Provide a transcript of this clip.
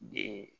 Den